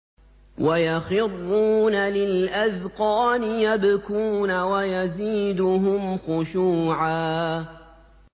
وَيَخِرُّونَ لِلْأَذْقَانِ يَبْكُونَ وَيَزِيدُهُمْ خُشُوعًا ۩